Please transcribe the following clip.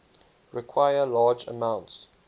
require large amounts